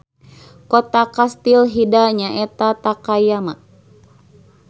Kota kastil Hida nyaeta Takayama.